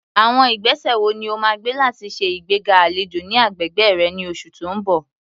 Àwọn ìgbésẹ̀ wo ni o máa gbé láti ṣe ìgbéga àlejò ní agbègbè rẹ ní oṣù tó ń bọ̀?